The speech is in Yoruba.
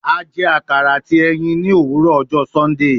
A jẹ akara ati ẹyin ni owurọ ọjọ Sundee